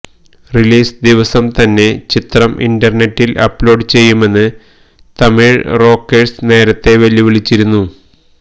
release ദിവസം തന്നെ ചിത്രം ഇന്റർനെറ്റിൽ അപ്ലോഡ് ചെയ്യുമെന്ന് തമിഴ് റോക്കേഴ്സ് നേരത്തെ വെല്ലുവിളിച്ചിരുന്നു